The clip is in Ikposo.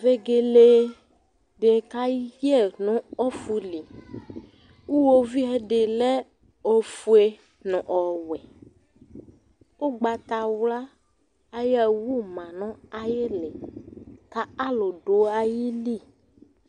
Vegele di kayɛ nu ɔfʋli Ʋwovi ɛdí lɛ ɔfʋe nʋ ɔwɛ Ʋgbatawla ayʋ awʋ ma nʋ ayʋ ìlí kʋ alu du ayìlí